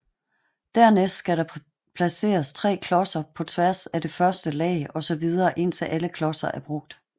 Dernæst skal der placeres 3 klodser på tværs af det første lag og så videre indtil alle klodser er brugt